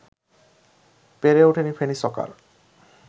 পেরে ওঠেনি ফেনী সকার